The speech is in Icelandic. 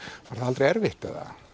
aldrei erfitt